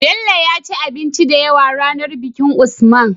Bello yaci abinci da yawa ranar bikin usman